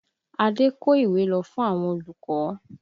Ade kó ìwé lọ fún àwọn olùkọ́